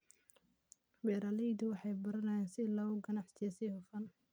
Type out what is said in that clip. Beeraleydu waxay baranayaan sida loo ganacsiyo si hufan.